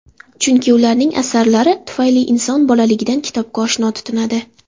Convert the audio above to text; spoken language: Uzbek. Chunki ularning asarlari tufayli inson bolaligidan kitobga oshno tutinadi.